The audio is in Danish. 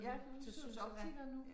Ja nede hos optikeren nu